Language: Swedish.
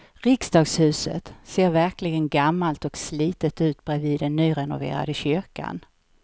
Riksdagshuset ser verkligen gammalt och slitet ut bredvid den nyrenoverade kyrkan.